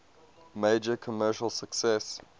major commercial success